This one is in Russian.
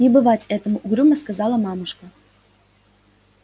не бывать этому угрюмо сказала мамушка